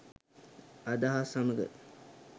අදහස් සමග